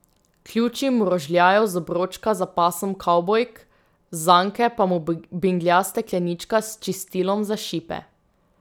Ključi mu rožljajo z obročka za pasom kavbojk, z zanke pa mu binglja steklenička s čistilom za šipe.